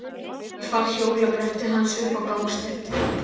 Ég fann hjólabrettið hans uppi á gangstétt.